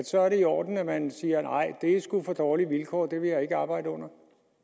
så i orden at man siger nej det er sgu for dårlige vilkår det vil jeg ikke arbejde under